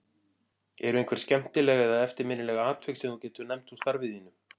Eru einhver skemmtileg eða eftirminnileg atvik sem þú getur nefnt úr starfi þínu?